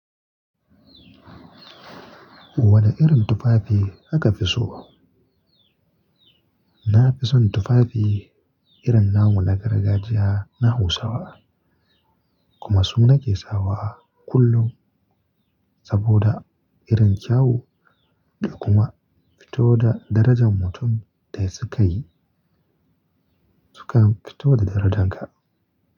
Wane irin tufafi aka fi so? Na fi son tufafi irin namu na gargajiya na Hausawa kuma su nake sawa kullum saboda irin kyau da kuma fito da darajan mutum da ya saka yi sukan fito da darajarka.